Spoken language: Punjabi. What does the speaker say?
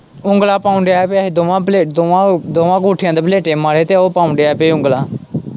ਉਗਲਾਂ ਪਾਉਣ ਦਿਆਂ ਪਿਆ ਹੀ ਦੋਵਾਂ ਬਲੇਟਾਂ, ਦੋਵਾਂ ਅੰਗੂਠਿਆਂ ਤੇ ਬਲੇਟੇ ਮਾਰੇ ਤੇ ਉਹ ਪਾਉਣ ਦਿਆਂ ਪਿਆ ਹੀ ਉਂਗਲਾਂ।